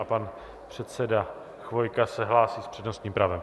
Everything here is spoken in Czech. A pan předseda Chvojka se hlásí s přednostním právem.